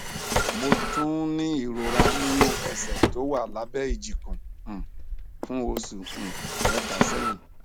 mo tún ń ní ìrora nínú ẹsẹ tó wà lábẹ ìjikùn um fún oṣù um mẹta sẹyìn